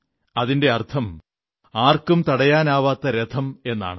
അതിന്റെ അർഥം ആർക്കും തടയാനാവാത്ത രഥമെന്നാണ്